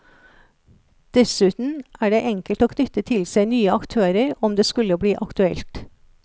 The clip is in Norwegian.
Dessuten er det enkelt å knytte til seg nye aktører om det skulle bli aktuelt.